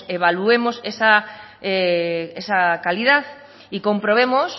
pues evaluemos esa calidad y comprobemos